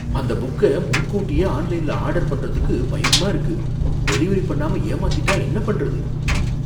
அந்த புக்க முன்னக்கூட்டியே ஆன்லைன்ல ஆர்டர் பண்றதுக்கு பயமா இருக்கு, டெலிவரி பண்ணாம ஏமாத்திட்டா என்ன பண்றது?